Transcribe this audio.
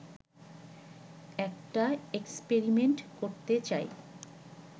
একটা এক্সপেরিমেন্ট করতে চায়